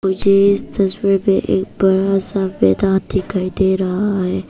मुझे इस तस्वीर पे एक बड़ा सा मैदान दिखाई दे रहा है।